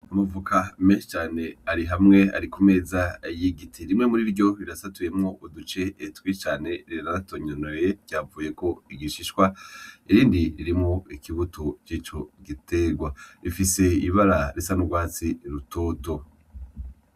Amavoka menshi cane ari hamwe ari ku meza y'igiti rimwe muriryo rira satuyemwo uduce tubi cane ritonoye ryavuyeko igishishwa irindi ririmwo ikibuto c'ico gitegwa rifise ibara risa n' ugwatsi rutoto.